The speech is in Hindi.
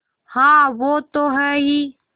हाँ वो तो हैं ही